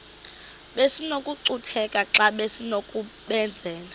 besinokucutheka xa besinokubenzela